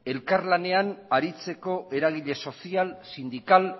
elkarlanean aritzeko eragile sozial sindikal